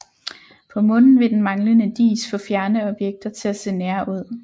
På Månen vil den manglende dis få fjerne objekter til at se nære ud